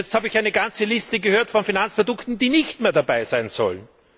Jetzt habe ich eine ganze Liste von Finanzprodukten gehört, die nicht mehr dabei sein sollen.